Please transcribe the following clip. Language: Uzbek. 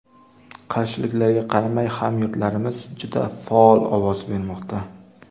Qarshiliklarga qaramay, hamyurtlarimiz juda faol ovoz bermoqda.